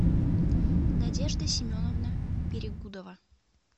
надежда семеновна перегудова